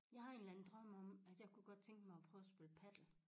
Jeg har en eller anden drøm om at jeg kunne godt tænke mig at prøve at spille padel